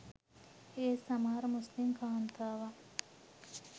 ඒත් සමහර මුස්‌ලිම් කාන්තාවන්